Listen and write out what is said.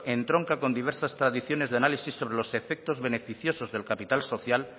entronca con diversas tradiciones de análisis sobre los efectos beneficios del capital social